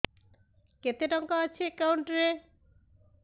କେତେ ଟଙ୍କା ଅଛି ଏକାଉଣ୍ଟ୍ ରେ